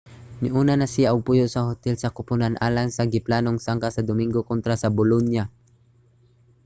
niuna na siya og puyo sa hotel sa kupunan alang sa giplanong sangka sa dominggo kontra sa bolonia